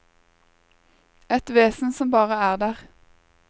Et vesen som bare er der.